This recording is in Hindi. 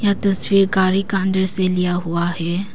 तस्वीर गाड़ी का अंदर से लिया हुआ है।